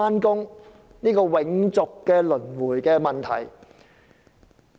這是個永續循環不息的問題。